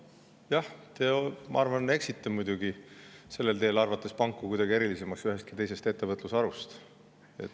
Jah, ma arvan, et te muidugi eksite sellel teel, arvates, et pangad on kuidagi erilisemad kui mõni teine ettevõtlusharu.